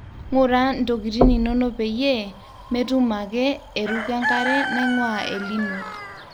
ngura ntokitin inonopeyie metum ake eruko enkare naingua El nino